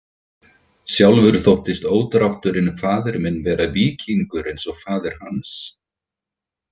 Sjálfur þóttist ódrátturinn faðir minn vera víkingur eins og faðir hans.